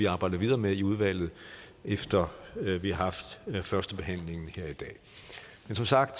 arbejde videre med i udvalget efter at vi har haft førstebehandlingen her i dag men som sagt